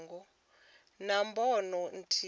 vha na bono ithihi zwi